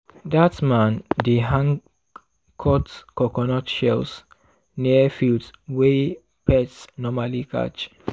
dat man dey hang cut coconut shells near fields wey pests normally catch.